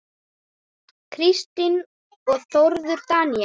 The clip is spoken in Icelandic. Kristín og Þórður Daníel.